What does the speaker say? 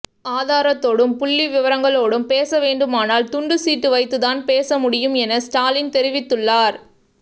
ஆதாரத்தோடும் புள்ளி விவரங்களோடும் பேச வேண்டுமானால் துண்டு சீட்டு வைத்துதான் பேச முடியும் என ஸ்டாலின் தெரிவித்துள்ளார்